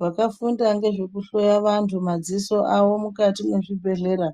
Vakafunda ngezvekuhloya vantu madziso avo mukati mwezvibhedhlera